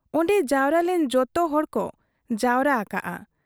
ᱚᱱᱰᱮ ᱡᱟᱣᱨᱟ ᱞᱮᱱ ᱡᱚᱛᱚᱦᱚᱲ ᱠᱚ ᱡᱟᱣᱨᱟ ᱟᱠᱟᱜ ᱟ ᱾